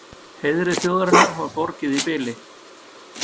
Heiðri þjóðarinnar var borgið í bili.